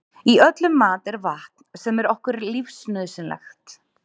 í öllum mat er vatn sem er okkur lífsnauðsynlegt